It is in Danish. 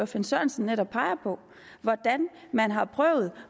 finn sørensen netop peger på hvordan man har prøvet